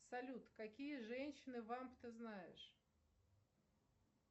салют какие женщины вамп ты знаешь